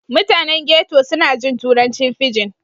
Mutanen ghetto suna jin turancin fijin.